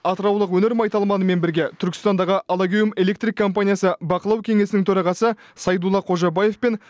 атыраулық өнер майталманымен бірге түркістандағы алагеум электрик компаниясы бақылау кеңесінің төрағасы сайдулла қожабаев пен